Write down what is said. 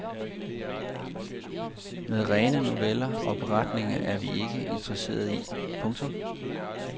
Men rene noveller og beretninger er vi ikke interesseret i. punktum